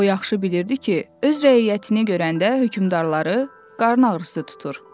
O yaxşı bilirdi ki, öz rəiyyətini görəndə hökmdarları qarın ağrısı tutur.